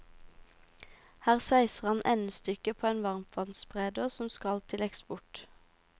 Her sveiser han endestykket på en varmtvannsbereder som skal til eksport.